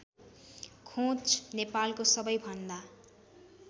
खोंच नेपालको सबैभन्दा